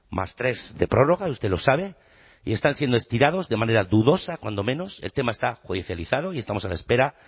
más tres de prórroga usted lo sabe y están siendo estirados de manera dudosa cuando menos el tema está judicializado y estamos a la espera